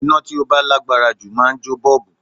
Iná tí ó bá lágbára jù máa ń jó bọ́ọ̀bù